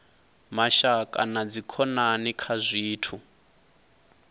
mashaka na dzikhonani kha zwithu